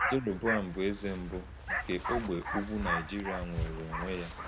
Jeroboam bụ eze mbụ nke ógbè ugwu Nigeria nwere onwe ya.